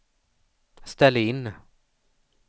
ställ in